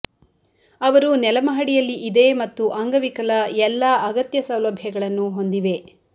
ಅವರು ನೆಲ ಮಹಡಿಯಲ್ಲಿ ಇದೆ ಮತ್ತು ಅಂಗವಿಕಲ ಎಲ್ಲಾ ಅಗತ್ಯ ಸೌಲಭ್ಯಗಳನ್ನು ಹೊಂದಿವೆ